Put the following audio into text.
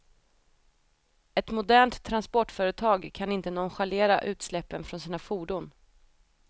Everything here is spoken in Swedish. Ett modernt transportföretag kan inte nonchalera utsläppen från sina fordon.